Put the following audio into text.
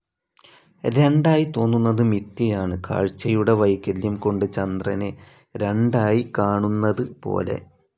രണ്ടായി തോന്നുന്നത് മിഥ്യയാണ്, കാഴ്ചയുടെ വൈകല്യം കൊണ്ട് ചന്ദ്രനെ രണ്ടായി കാണുന്നത് പോലെ.